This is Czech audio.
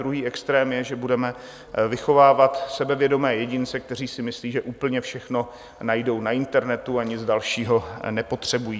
Druhý extrém je, že budeme vychovávat sebevědomé jedince, kteří si myslí, že úplně všechno najdou na internetu, a nic dalšího nepotřebují.